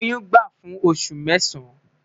Oyun gba fun osu mẹsan